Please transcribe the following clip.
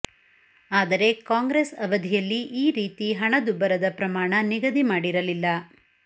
ಆದರೆ ಕಾಂಗ್ರೆಸ್ ಅವಧಿಯಲ್ಲಿ ಈ ರೀತಿ ಹಣ ದುಬ್ಬರದ ಪ್ರಮಾಣ ನಿಗದಿ ಮಾಡಿರಲಿಲ್ಲ